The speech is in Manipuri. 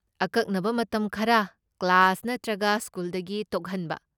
ꯑꯀꯛꯅꯕ ꯃꯇꯝ ꯈꯔ ꯀ꯭ꯂꯥꯁ ꯅꯠꯇ꯭ꯔꯒ ꯁ꯭ꯀꯨꯜꯗꯒꯤ ꯇꯣꯛꯍꯟꯕ꯫